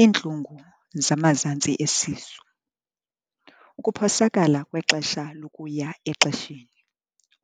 iintlungu zamazantsi esisu, ukuphosakala kwexesha lokuya exesheni,